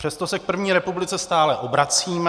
Přesto se k první republice stále obracíme.